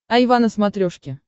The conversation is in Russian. айва на смотрешке